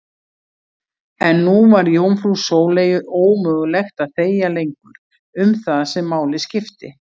En nú var jómfrú Sóleyju ómögulegt að þegja lengur um það sem máli skipti.